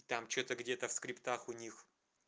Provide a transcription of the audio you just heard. там что-то где-то в скриптах у них